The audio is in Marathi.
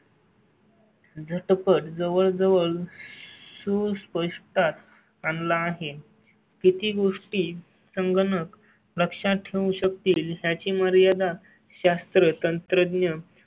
झट पट पण जवळ जवळ सुस्पष्टता आणला आहे. किती गोष्टी संगणक लक्षात ठेवू शकतील याची मर्यादा शास्त्र तंत्र